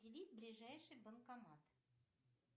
ближайший банкомат